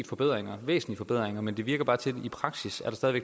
forbedringer men det virker bare sådan i praksis at det stadig